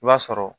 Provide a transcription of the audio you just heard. I b'a sɔrɔ